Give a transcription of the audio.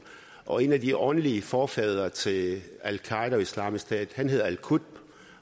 og en af de åndelige forfædre til al qaeda og islamisk stat hedder al qutb